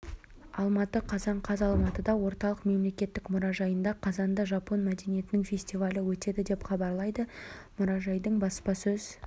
алматы қазан қаз алматыда орталық мемлекеттік мұражайында қазанда жапон мәдениетінің фестивалі өтеді деп хабарлады мұражайдың баспасөз